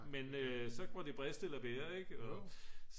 men så må det briste eller bære ik og